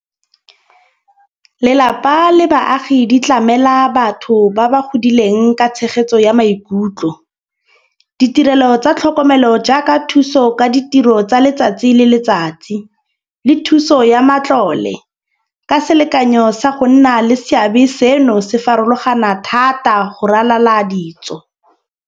Lelapa le baagi di tlamela batho ba ba godileng ka tshegetso ya maikutlo. Ditirelo tsa tlhokomelo jaaka thuso ka ditiro tsa letsatsi le letsatsi le thuso ya matlole, ka selekanyo sa go nna le seabe seno se farologana thata go ralala ditso.